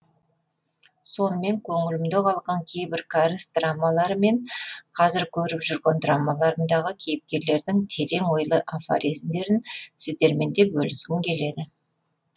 сонымен көңілімде қалған кейбір кәріс драмалары мен қазір көріп жүрген драмаларымдағы кейіпкерлердің терең ойлы афоризмдерін сіздермен де бөліскім келді